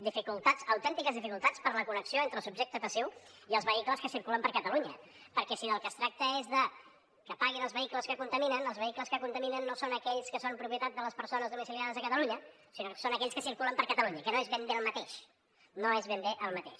dificultats autèntiques dificultats per la connexió entre el subjecte passiu i els vehicles que circulen per catalunya perquè si del que es tracta és de que paguin els vehicles que contaminen els vehicles que contaminen no són aquells que són propietat de les persones domiciliades a catalunya sinó que són aquells que circulen per catalunya que no és ben bé el mateix no és ben bé el mateix